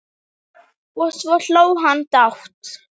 Og svo hló hann dátt!